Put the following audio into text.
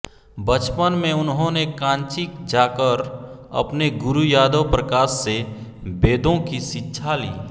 बचपन में उन्होंने कांची जाकर अपने गुरू यादव प्रकाश से वेदों की शिक्षा ली